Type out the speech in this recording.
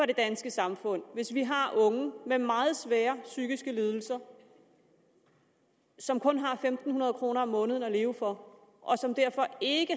det danske samfund hvis vi har unge med meget svære psykiske lidelser som kun har fem hundrede kroner om måneden at leve for og som derfor ikke